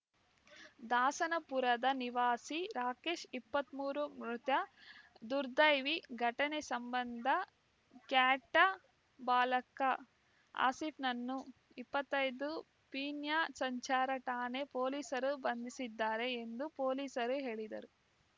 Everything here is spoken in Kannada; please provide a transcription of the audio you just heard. ದಾಸನಪುರದ ನಿವಾಸಿ ರಾಕೇಶ್‌ ಇಪ್ಪತ್ತ್ ಮೂರು ಮೃತ ದುರ್ದೈವಿ ಘಟನೆ ಸಂಬಂಧ ಕ್ಯಾಟಾ ಬಾಲಕ ಆಸೀಫ್‌ನನ್ನು ಇಪ್ಪತ್ತೈದು ಪೀಣ್ಯ ಸಂಚಾರ ಠಾಣೆ ಪೊಲೀಸರು ಬಂಧಿಸಿದ್ದಾರೆ ಎಂದು ಪೊಲೀಸರು ಹೇಳಿದರು